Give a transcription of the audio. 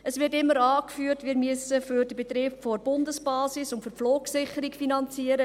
: Es wird immer angeführt, dass wir für den Betrieb der Bundesbasis und für die Flugsicherung finanzieren.